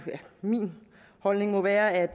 min holdning må være at